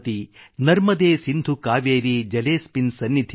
ನರ್ಮದೇ ಸಿಂಧು ಕಾವೇರಿ ಜಲೇಸ್ಮಿನ್ ಸನ್ನಿಧಿಂ ಕುರು